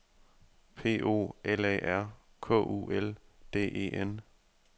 P O L A R K U L D E N